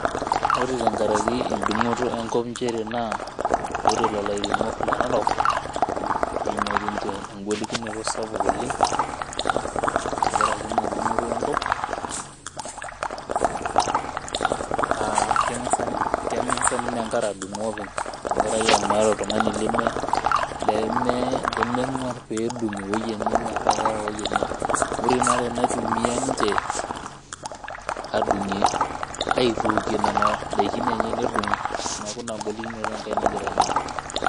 Ore tenkaraki edung'oto enkop njere naa, ore lelo airemok le Narok, neimatie nche egolikinoto sapuk oleng, tenkaraki ina dung'oto enkop, ah keng'asa ninye enkare adung'o openy tenkaraki meeta oltung'ani lemeng'uar pedung' ewoi enye metaa keeta ewoi enye. Ore inaare naitumia ninche, adung'ie aitookie nena daikin enye nedung'o. Neeku ina golikinoto enkae nagira aimaa.